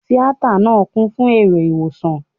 Tíátà náà kún fún èrò Ìwòran.